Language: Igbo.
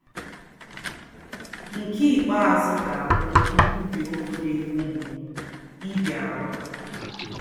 Nke ikpeazụ ga-abụ nkwubi okwu na-egbu mgbu ịbịaru.